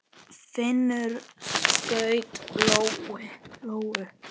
Finnur skaut lóu.